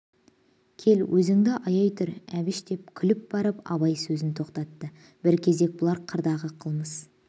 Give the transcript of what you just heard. кел өзінді аяй тұр әбіш деп күліп барып абай сөзін тоқтатты бір кезек бұлар қырдағы қылмыс